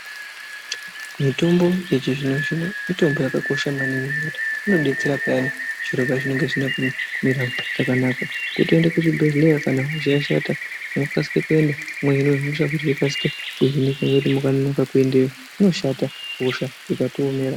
Mutombo yechizvino zvino mitombo yakakosha maningi ngekuti inodetsera payani zviro pazvinenge zvisina kumira zvakanaka kutoende kuchibhedhleya kana hosha yashata mwokasike kuenda mwohine hosha yokasike kuhinika nekuti mukanonoka kuendeyo inoshata hosha ikatiomera.